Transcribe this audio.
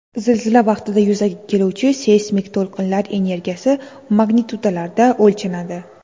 Zilzila vaqtida yuzaga keluvchi seysmik to‘lqinlar energiyasi magnitudalarda o‘lchanadi.